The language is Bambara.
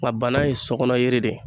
Nka banan ye sokɔnɔyiri de ye